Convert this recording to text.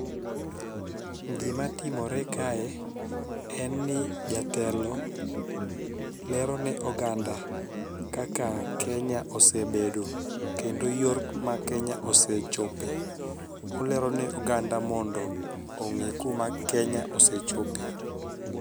Gima timore kae en ni jatelo lero ne oganda kaka kenya osebedo kendo yor mar kenya osechope. Olero ne oganda mondo ong'e kuma kenya osechope.